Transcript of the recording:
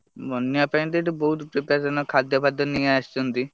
ବନ୍ୟା ପାଇଁ ତ ଏଠି ବହୁତ୍ preparation ଖାଦ୍ୟ ଫାଦ୍ୟ ନେଇ ଆସିଛନ୍ତି।